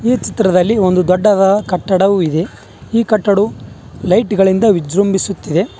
ಈ ಚಿತ್ರದಲ್ಲಿ ಒಂದು ದೊಡ್ಡದಾದ ಕಟ್ಟಡವು ಇದೆ ಈ ಕಟ್ಟಡವು ಲೈಟ್ ಗಳಿಂದ ವಿಜೃಂಭಿಸುತ್ತಿದೆ.